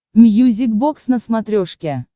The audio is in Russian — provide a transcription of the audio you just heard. мьюзик бокс на смотрешке